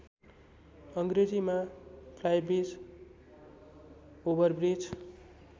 अङ्ग्रेजीमा flybridge overbridge